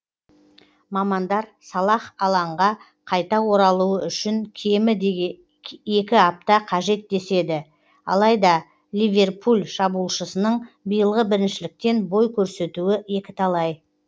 мамандар салах алаңға қайта оралуы үшін кемі екі апта қажет деседі алайда ливерпуль шабуылшысының биылғы біріншіліктен бой көрсетуі екіталай